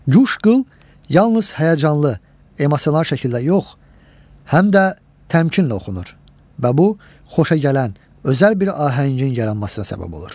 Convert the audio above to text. Cuşqıl yalnız həyəcanlı, emosional şəkildə yox, həm də təmkinlə oxunur və bu, xoşagələn, özəl bir ahəngin yaranmasına səbəb olur.